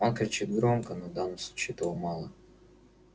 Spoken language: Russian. он кричит громко но в данном случае этого мало